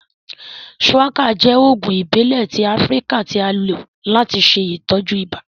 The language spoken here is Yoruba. Shuwaka jẹ oogun ibile ti Afirika ti a lo lati ṣe itọju ibà.